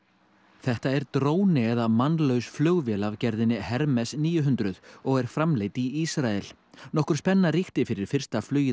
þetta er dróni eða mannlaus flugvél af gerðinni níu hundruð og er framleidd í Ísrael nokkur spenna ríkti fyrir fyrsta flugið